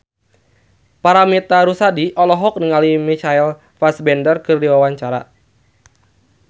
Paramitha Rusady olohok ningali Michael Fassbender keur diwawancara